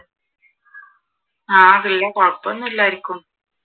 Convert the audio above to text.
ആഹ് വലിയ കുഴപ്പമൊന്നുമില്ല ആർക്കും